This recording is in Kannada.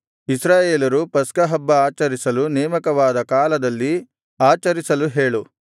ಇಸ್ರಾಯೇಲರು ಪಸ್ಕಹಬ್ಬ ಆಚರಿಸಲು ನೇಮಕವಾದ ಕಾಲದಲ್ಲಿ ಆಚರಿಸಲು ಹೇಳು